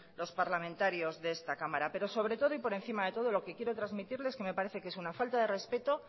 los parlamentarios de esta cámara pero sobre todo y por encima de todo lo que quiero transmitirle es que me parece que es una falta de respeto